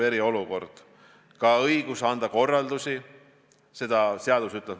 Alati kaasnevad paanika ning vägivalla- ja muud sellised hood.